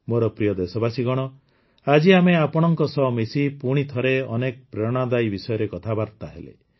ମୋର ପ୍ରିୟ ଦେଶବାସୀଗଣ ଆଜି ଆମେ ଆପଣମାନଙ୍କ ସହ ମିଶି ପୁଣିଥରେ ଅନେକ ପ୍ରେରଣାଦାୟୀ ବିଷୟରେ କଥାବାର୍ତ୍ତା ହେଲେ